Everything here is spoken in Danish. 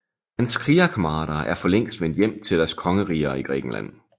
Hans krigerkammerater er for længst vendt hjem til deres kongeriger i Grækenland